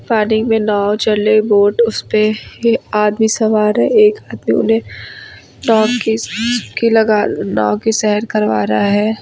पानी में नाव चल रही है बोट उसपे ये आदमी सवार है एक आदमी उन्हें नाव की सैर लगा नाव की सैर करवा रहा है।